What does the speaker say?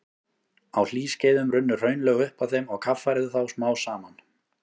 Á hlýskeiðum runnu hraunlög upp að þeim og kaffærðu þá smám saman.